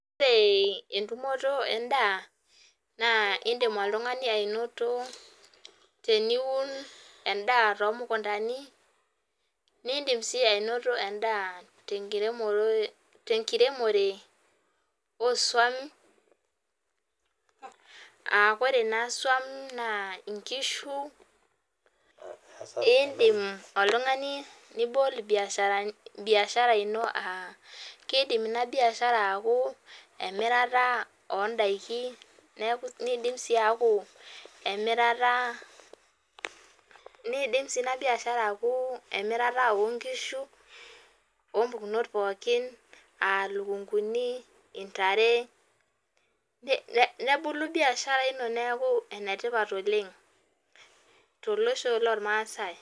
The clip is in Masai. Ore entumoto endaa naa indim oltung'ani anoto teniun endaa too mukuntani nidim sii anoto edaa tenkiremore osuwam aa koree naa esuwam naa nkishu naa indim oltung'ani nibol imbiasharani ina aa keidim ina biashara aku emirata oondaiki neidim sii aku emirate o nkishu oo mpukunot pooki aa nkishu, ilikunkuni, ntare nebulu biashara ino neaku enetipat oleng to losho loolmaasai